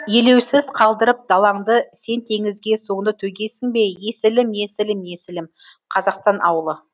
елеусіз қалдырып далаңды сен теңізге суыңды төгесіңбе ей есілім есілім есілім қазақстан ауылы